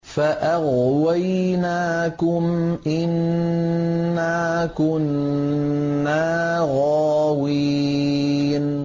فَأَغْوَيْنَاكُمْ إِنَّا كُنَّا غَاوِينَ